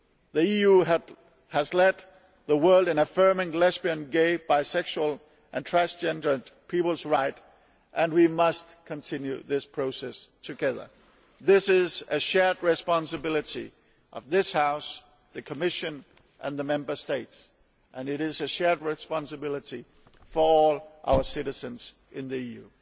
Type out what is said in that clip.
The EU has led the world in affirming lesbian, gay, bisexual and transgender people's rights and we must continue this process together. This is a shared responsibility of this House, the Commission and the Member States, and it is a shared responsibility for all our citizens in the EU.